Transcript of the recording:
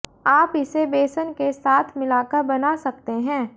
आप इसे बेसन के साथ मिलाकर बना सकते हैं